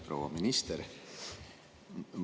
Proua minister!